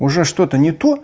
уже что то не то